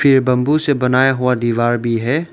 ये बंबू से बनाया हुआ दीवार भी है।